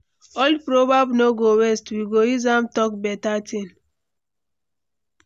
Old proverb no go waste, we go use am talk beta thing.